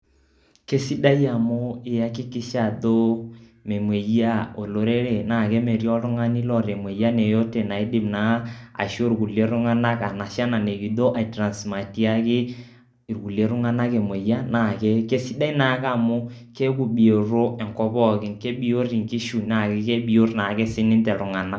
Kesidai amu iakikisha ajo memueyiaa olorere naake metii oltung'ani loota imueyian yeyote naidim naa ashu irkulie tung'anak anashe ena nikijo aitransmatiaki irkuliek tung'anak emueyian naake kesidai naake amu keaku bioto enkop pookin, kebiot inkishu naa kebiot naake sininye iltung'anak.